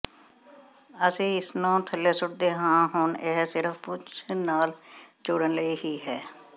ਅਸੀਂ ਇਸ ਨੂੰ ਥੱਲੇ ਸੁੱਟਦੇ ਹਾਂ ਹੁਣ ਇਹ ਸਿਰਫ਼ ਪੂਛ ਨਾਲ ਜੋੜਨ ਲਈ ਹੀ ਹੈ